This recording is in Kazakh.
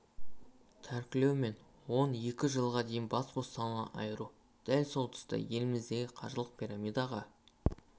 тәркілеу мен он екі жылға дейін бас бостандығынан айыру дәл сол тұста еліміздегі қаржылық пирамидаға